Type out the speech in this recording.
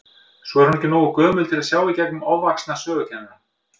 Svo er hún ekki nógu gömul til að sjá í gegnum ofvaxna sögukennara.